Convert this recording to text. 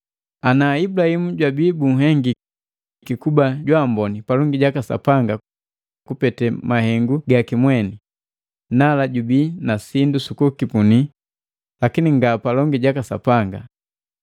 Ana Ibulahimu jwabii bunhengiki kuba jwaamboni palongi jaka Sapanga kupete mahengu gaki mweni, nala jubii na sindu sukukipuni lakini nga palongi jaka Sapanga.